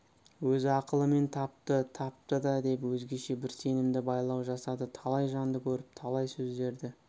өз ақылымен тапты тапты да деп өзгеше бір сенімді байлау жасады талай жанды көріп талай сөздерді